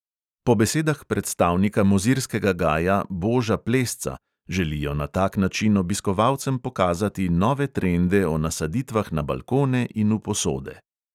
Po besedah predstavnika mozirskega gaja boža plesca želijo na tak način obiskovalcem pokazati nove trende o nasaditvah na balkone in v posode.